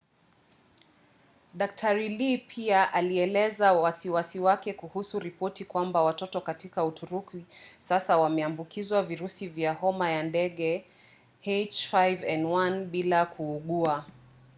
dkt. lee pia alieleza wasiwasi wake kuhusu ripoti kwamba watoto katika uturuki sasa wameambukizwa virusi vya homa ya ndege ah5n1 bila kuugua